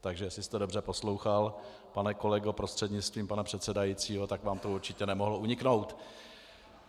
Takže jestli jste dobře poslouchal, pane kolego prostřednictvím pana předsedajícího, tak vám to určitě nemohlo uniknout.